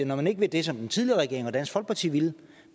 når man ikke vil det som den tidligere regering og dansk folkeparti ville